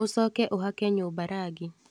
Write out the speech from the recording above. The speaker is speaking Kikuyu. Ũcoke ũhake nyũmba rangi.